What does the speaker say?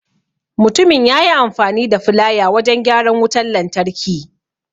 Mutumin yayi amfani da filaya wajan gyaran wutan lantarki.